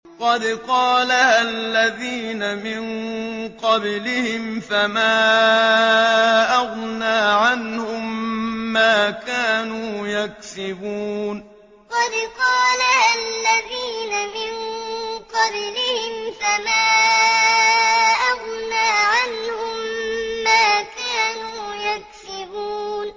قَدْ قَالَهَا الَّذِينَ مِن قَبْلِهِمْ فَمَا أَغْنَىٰ عَنْهُم مَّا كَانُوا يَكْسِبُونَ قَدْ قَالَهَا الَّذِينَ مِن قَبْلِهِمْ فَمَا أَغْنَىٰ عَنْهُم مَّا كَانُوا يَكْسِبُونَ